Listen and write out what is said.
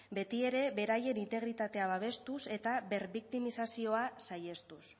betiere beraien integritatea babestuz eta berbiktimizazioa saihestuz